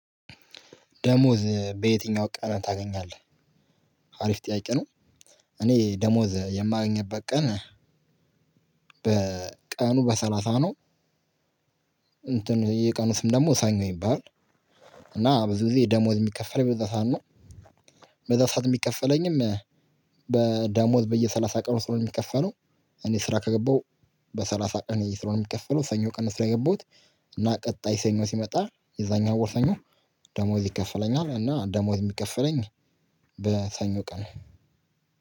ደሞዝ በየትኛው ቀን ታገኛለህ አሪፍ ጥያቄ ነው? እኔ ደሞዝ የማገኝበት ቀን በቀኑ በሰላሳ ነው። እንትን የቀኑ ስም ደግሞ ሰኞ ይባላል። እና ብዙ ጊዜ ደሞዝ የሚከፈለኝ በዛ ሰዓት ነው። በዛ ሰዓት የሚከፈለኝም በደሞዝ በየሰላሳ ቀኑ ስለሆነ የሚከፈለው እኔ ስራ ከገባው በሰላሳ ቀን ስለሆነ የሚከፈለው ሰኞ ቀን ስራ የገባሁት እና ቀጣይ ሰኞ ሲመጣ የዛኛው ወር ሰኞ ደሞዝ ይከፈለኛል። እና ደሞዝ የሚከፈለኝ በሰኞ ቀን ነው።